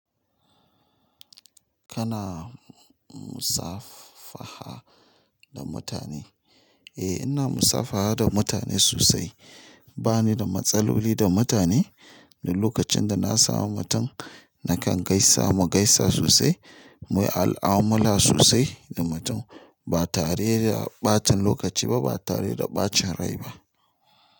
Kana musafaha da mutane? Eh, ina musafaha da mutane sosai. Ba ni da matsaloli da mutane. Duk lokacin da na sami mutum, nakan gaisa mu gaisa sosai, muyi al'amura sosai da mutum. Ba tare da ɓatan lokaci ba, ba tare da ɓacin rai ba.